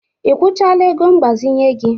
I kwụchala ego mgbazinye gị?